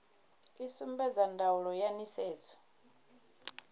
i sumbedza ndaulo ya nisedzo